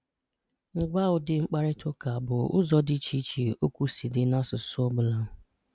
Mmalite: Ngwaa ụdị mkparịtaụka bụ ụzọ ndị dị iche okwu si di n’asụsụ ọ bụla.